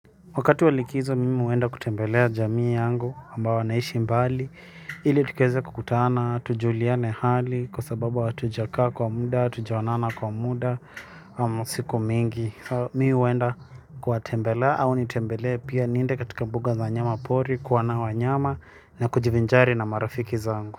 Wakati wa likizo, mimi huenda kutembelea jamii yangu ambao wanaishi mbali, ili tukaeze kukutana, tujuliane hali, kwa sababu hatujakaa kwa muda, hatujaonana kwa muda, siku mingi. Mi huenda kuwatembelea au nitembelee pia niende katika mbuga za nyama pori, kuona wanyama na kujivinjari na marafiki zangu.